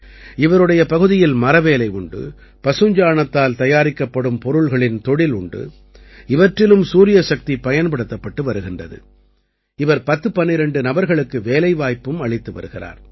இவருடைய பகுதியில் மரவேலை உண்டு பசுஞ்சாணத்தால் தயாரிக்கப்படும் பொருள்களின் தொழில் உண்டு இவற்றிலும் சூரியசக்தி பயன்படுத்தப்பட்டு வருகிறது இவர் 1012 நபர்களுக்கு வேலைவாய்ப்பும் அளித்து வருகிறார்